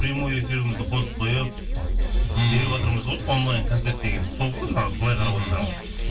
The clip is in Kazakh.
прямой эфирімізді қосып қойып ммм беріватырмыз ғой онлайн концерт дегеніміз сол ғой мына былай қарап отсаңыз иә